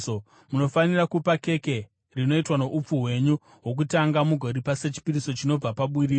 Munofanira kupa keke rinoitwa noupfu hwenyu hwokutanga mugoripa sechipiriso chinobva paburiro.